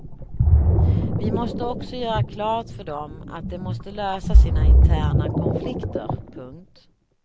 Vi måste också göra klart för dem att de måste lösa sina interna konflikter. punkt